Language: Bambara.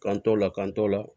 K'an t'o la k'an t'o la